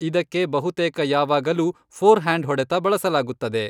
ಇದಕ್ಕೆ ಬಹುತೇಕ ಯಾವಾಗಲೂ ಫೋರ್ಹ್ಯಾಂಡ್ ಹೊಡೆತ ಬಳಸಲಾಗುತ್ತದೆ.